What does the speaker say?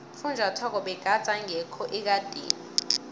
ufunjathwako begade engekho ekadeni